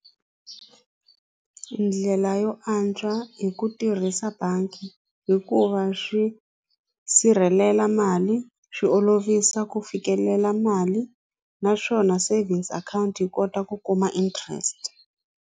Ndlela yo antswa hi ku tirhisa bangi hikuva swi sirhelela mali swi olovisa ku fikelela mali naswona savings account yi kota ku kuma interest.